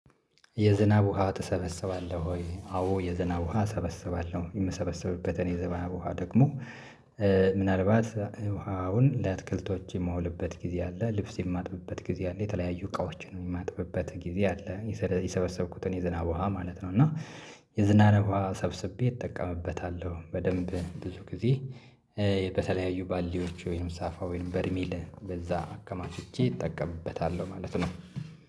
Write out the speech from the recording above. የዝናብ ውሃ ትሰበሰባለሁ ወይ? አዎ የዝናብ ውሃ እሰበሰባለሁ የምሰበሰብበትን የዝናብ ውሃ ደግሞ ምናልባት ውሃውን ለትክልቶች የማውልበት ጊዜ አለ ልብስ የማጥብበት ጊዜ አለ የተለያዩ እቃዎችን የማጥብበት ጊዜ አለ። የሰበሰብኩትን የዝናብ ውሃ ማለት ነው። እና የዝናብ ውሃ ሰብስቤ እጠቀምበታለሁ በደንብ ብዙ ጊዜ። በተለያዩ ባልዲዎች ወይም ሳፋ ወይም በርሚል በዛ አከማችቼ እጠቀምበታለሁ ማለት ነው።